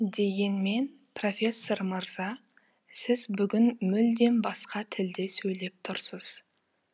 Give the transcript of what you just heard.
дегенмен профессор мырза сіз бүгін мүлдем басқа тілде сөйлеп тұрсыз